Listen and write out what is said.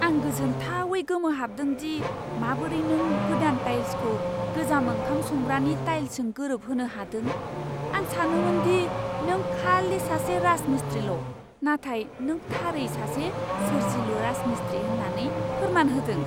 आं गोजोनथावै गोमोहाबदों दि माबोरै नों गोदान टाइल्सखौ गोजाम ओंखाम संग्रानि टाइल्सजों गोरोबहोनो हादों। आं सानोमोन दि नों खालि सासे राजमिस्त्रील' नाथाय नों थारै सासे सोरजिलु राजमिस्त्री होन्नानै फोरमान होदों।